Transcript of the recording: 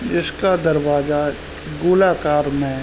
जिसका दरवाजा गोलाकार में है।